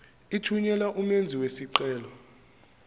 ithunyelwa umenzi wesicelo